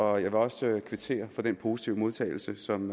og jeg vil også kvittere for den positive modtagelse som